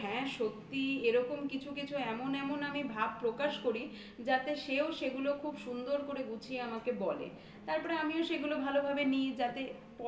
হ্যাঁ কিন্তু তাইতো হ্যাঁ সত্যিই এরকম কিছু কিছু এমন এমন আমি ভাব প্রকাশ করি যাতে সেও সেগুলো খুব সুন্দর করে গুছিয়ে আমাকে বলে. তারপরে আমিও সেগুলো ভালোভাবে নিই.